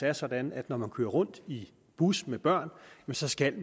er sådan at når man kører rundt i bus med børn så skal